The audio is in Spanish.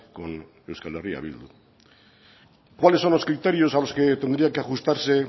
con euskal herria bildu cuáles son los criterios a los que tendrían que ajustarse